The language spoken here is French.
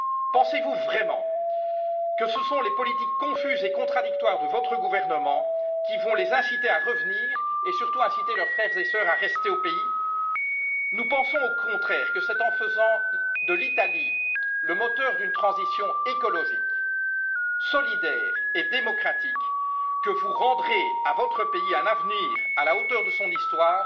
Pensez vous vraiment que ce sont les politiques confuses et contradictoires de votre gouvernement qui vont les inciter à revenir, et surtout inciter leurs frères et sœurs à rester au pays? Nous pensons au contraire que c'est en faisant de l'Italie le moteur d'une transition écologique, solidaire et démocratique que vous rendrez à votre pays un avenir à la hauteur de son histoire,